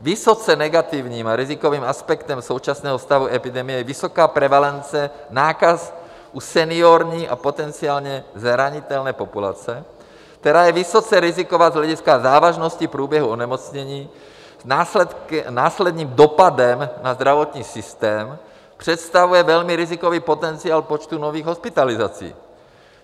Vysoce negativním a rizikovým aspektem současného stavu epidemie je vysoká prevalence nákaz u seniorní a potenciálně zranitelné populace, která je vysoce riziková z hlediska závažnosti průběhu onemocnění, následným dopadem na zdravotní systém představuje velmi rizikový potenciál počtu nových hospitalizací.